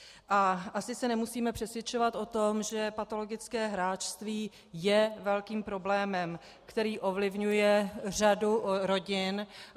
A asi se nemusíme přesvědčovat o tom, že patologické hráčství je velkým problémem, který ovlivňuje řadu rodin.